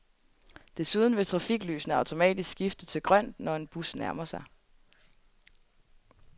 Desuden vil trafiklysene automatisk skifte til grønt, når en bus nærmer sig.